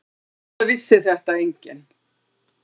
Auðvitað vissi þetta enginn.